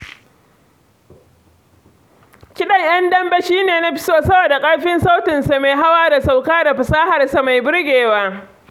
Kiɗan ƴan dambe shi ne na fi so saboda ƙarfin sautinsa mai hawa da sauka da fasaharsa mai burgewa.